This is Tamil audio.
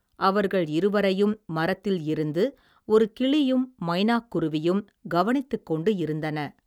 அவர்கள் இருவரையும் மரத்தில் இருந்து ஒரு கிளியும் மைனாக் குருவியும் கவனித்துக் கொண்டு இருந்தன.